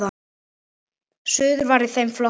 Suður var í þeim flokki.